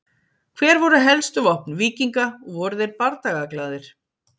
Hver voru helstu vopn víkinga og voru þeir bardagaglaðir?